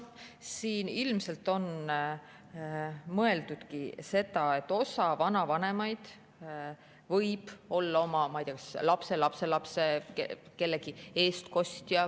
Siin ilmselt on mõeldud seda, et osa vanavanemaid võib olla oma lapselapse eestkostja.